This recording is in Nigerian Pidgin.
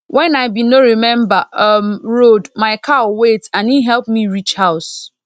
wen i bin no remember um road my cow wait and e help me reach house